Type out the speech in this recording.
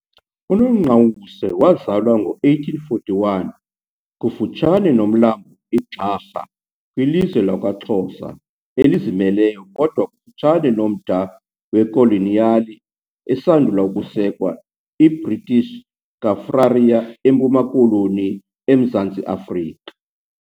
UNongqawuse wazalwa ngo-1841 kufutshane nomlambo iGxarha kwilizwe lakwaXhosa elizimeleyo kodwa kufutshane nomda wekoloniyali esandula ukusekwa iBritish Kaffraria eMpuma Koloni eMzantsi Afrika.